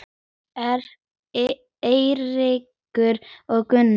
Eiríkur og Guðrún.